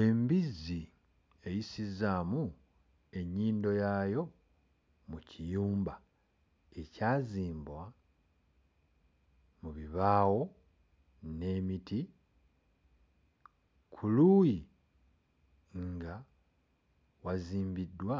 Embizzi eyisizzaamu ennyindo yaayo mu kiyumba ekyazimbwa mu bibaawo n'emiti. Ku luuyi nga wazimbiddwa